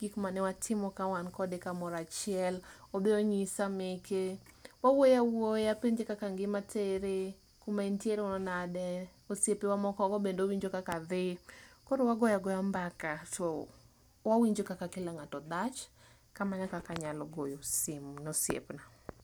gik manewatimo kawan kamoro achiel enbe onyisa meke, wawuoyo awuoya apenje kaka ngima tere, kuma en tiere ni nade, osiepewa moko be owinjo kaka dhiii, koro wagoya goya mbaka to wawinjo kaka kila ngato dhach. kamano e kaka anyalo goyo simu ne osiepna.